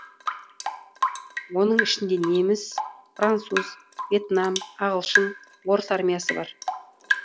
оның ішінде неміс француз въетнам ағылшын орыс армиясы бар